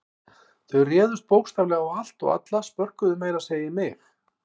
Þau réðust bókstaflega á allt og alla, spörkuðu meira að segja í mig.